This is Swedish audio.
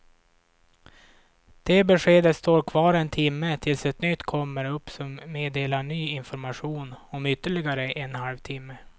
Det beskedet står kvar en timme tills ett nytt kommer upp som meddelar ny information om ytterligare en halv timme.